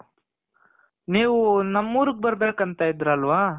ನೀವು ನಮ್ ಊರುಗ್ ಬರ್ಬೇಕಂತ ಇದ್ರಲ್ವ